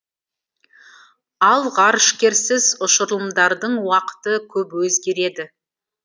ал ғарышкерсіз ұшырылымдардың уақыты көп өзгереді